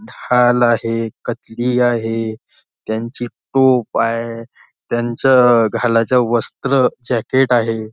ढाल आहे कतली आहे त्यांचे टोप आहे त्यांचं घालायच्या वस्त्र जॅकेट आहे.